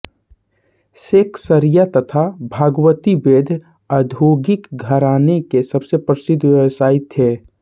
सेकसरिया तथा भगवती वैद्य औद्योगिक घराने के सबसे प्रसिद्ध व्यवसायी थे